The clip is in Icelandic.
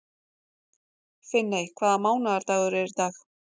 Finney, hvaða mánaðardagur er í dag?